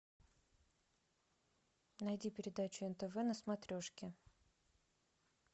найди передачу нтв на смотрешке